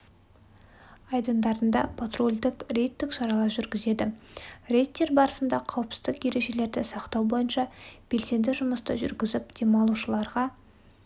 айдындарында патрульдік рейдтік шаралар жүргізеді рейдтер барысында қауіпсіздік ережелерді сақтау бойынша белсенді жұмысты жүргізіп демалушыларға